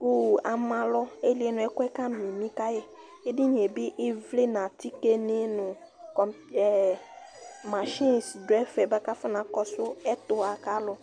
ku ama alɔ ayi lie nu ɛkʋɛ ka mimi ka yi , edinie bi ivli nu atike ni nu kom, ɛ, mashɛs du ɛfɛ bʋa ku afɔ na kɔsu ɛtua kalu